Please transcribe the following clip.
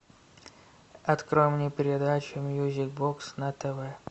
открой мне передачу мьюзик бокс на тв